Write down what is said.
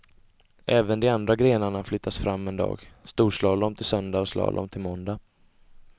Även de andra grenarna flyttas fram en dag, storslalom till söndag och slalom till måndag.